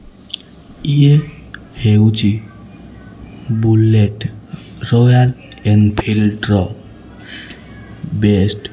ଇଏ ହେଉଛି bullet royal Enfield ର ବେଷ୍ଟ୍ --